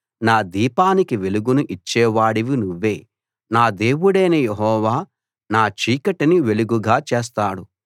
నా దీపానికి వెలుగును ఇచ్చేవాడివి నువ్వే నా దేవుడైన యెహోవా నా చీకటిని వెలుగుగా చేస్తాడు